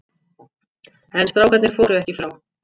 En strákarnir fóru ekki frá.